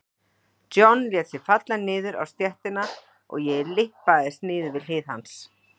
John lét sig falla niður á stéttina og ég lyppaðist niður við hlið hans.